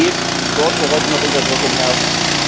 Es geht dort, wo heute noch Unterdrückung herrscht.